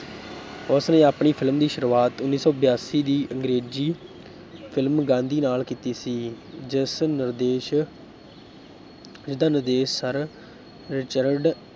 ਉਸਨੇ ਆਪਣੀ film ਦੀ ਸ਼ੁਰੂਆਤ ਉੱਨੀ ਸੌ ਬਿਆਸੀ ਦੀ ਅੰਗਰੇਜ਼ੀ film ਗਾਂਧੀ ਨਾਲ ਕੀਤੀ ਸੀ ਜਿਸ ਨਿਰਦੇਸ਼ ਜਿਸਦਾ ਨਿਰਦੇਸ਼ ਸਰ ਰਿਚਰਡ